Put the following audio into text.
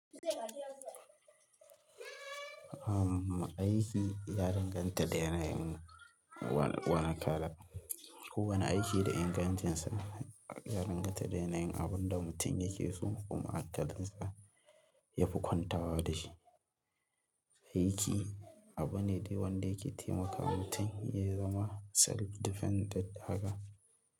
Aiki ya danganta da yanayin wani kala. Kowane aiki da ingancinsa, ya danganta da yanayin abin da mutum yake so kuma hankalin sa yafi kwantawa da shi. Aiki abu ne de wanda yake taimakawa mutum ya zama self dependent haka.